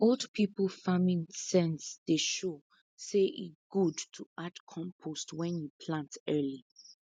old people farming sense dey show say e good to add compost when you plant early